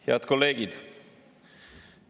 Head kolleegid!